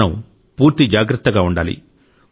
మనం పూర్తి జాగ్రత్తగా ఉండాలి